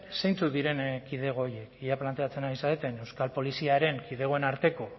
zeintzuk diren kidego horiek ea planteatzen ari zareten euskal poliziaren kidegoen arteko